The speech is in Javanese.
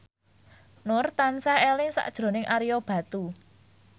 Nur tansah eling sakjroning Ario Batu